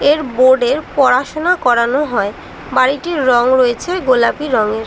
এর বোর্ডে পড়াশুনা করানো হয়। বাড়িটির রং রয়েছে গোলাপি রঙের ।